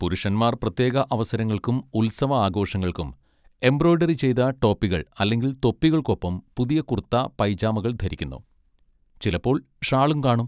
പുരുഷന്മാർ പ്രത്യേക അവസരങ്ങൾക്കും ഉത്സവ ആഘോഷങ്ങൾക്കും എംബ്രോയിഡറി ചെയ്ത ടോപ്പികൾ അല്ലെങ്കിൽ തൊപ്പികൾക്കൊപ്പം പുതിയ കുർത്ത പൈജാമകൾ ധരിക്കുന്നു, ചിലപ്പോൾ ഷാളും കാണും.